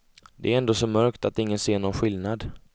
Det är ändå så mörkt att ingen ser någon skillnad.